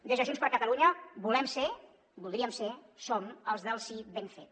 des de junts per catalunya volem ser voldríem ser som els del sí ben fet